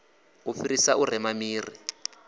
u fhirisa u rema miri